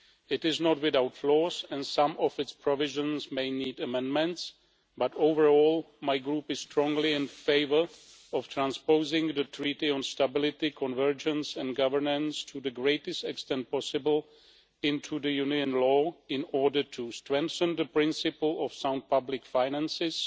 It is not without flaws and some of its provisions may need amendments, but overall, my group is strongly in favour of transposing the Treaty on Stability, Convergence and Governance to the greatest extent possible into the Union law in order to strengthen the principle of sound public finances,